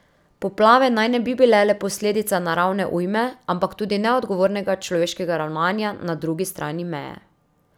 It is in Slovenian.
Poplave naj ne bi bile le posledica naravne ujme, ampak tudi neodgovornega človeškega ravnanja na drugi strani meje.